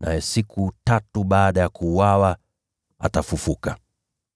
lakini siku tatu baada ya kuuawa atafufuka.”